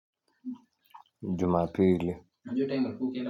Jumapili.